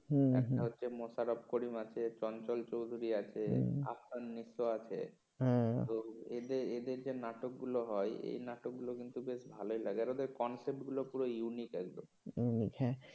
একটা হচ্ছে মোশারফ করিম আছে চঞ্চল চৌধুরী আছে আফফান নিত্য আছে হ্যাঁ এদের যে নাটক গুলো হয় সে নাটকগুলো কিন্তু বেশ ভালই লাগে আর ওদের concept গুলো খুব unique একদম unique হ্যাঁ